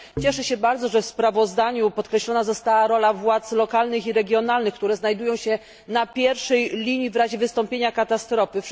Cieszę się bardzo, że w sprawozdaniu podkreślona została rola władz lokalnych i regionalnych, które znajdują się na pierwszej linii w razie wystąpienia katastrofy.